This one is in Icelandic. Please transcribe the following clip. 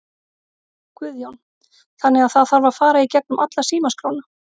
Guðjón: Þannig að það þarf að fara í gegnum alla símaskrána?